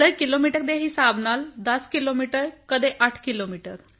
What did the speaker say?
ਸਿਰ ਕਿਲੋਮੀਟਰ ਦੇ ਹਿਸਾਬ ਨਾਲ 10 ਕਿਲੋਮੀਟਰ ਕਦੇ 8 ਕਿਲੋਮੀਟਰ